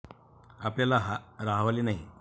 आपल्याला राहावले नाही.